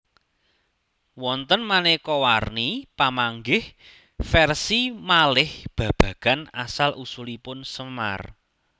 Wonten maneka warni pamanggih versi malih babagan asal usulipun Semar